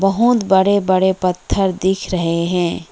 बहोत बड़े बड़े पत्थर दिख रहे हैं।